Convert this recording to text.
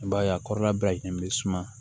I b'a ye a kɔrɔla bɛɛ ɲɛ bɛ suma